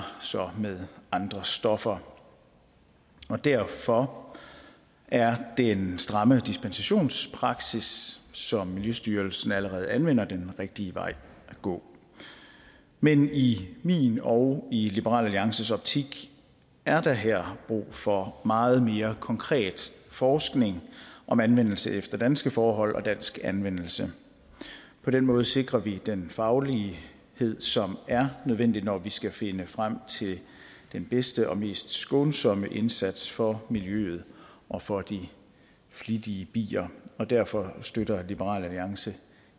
så med andre stoffer derfor er den stramme dispensationspraksis som miljøstyrelsen allerede anvender den rigtige vej at gå men i min og i liberal alliances optik er der her brug for meget mere konkret forskning om anvendelse efter danske forhold og dansk anvendelse på den måde sikrer vi den faglighed som er nødvendig når vi skal finde frem til den bedste og mest skånsomme indsats for miljøet og for de flittige bier og derfor støtter liberal alliance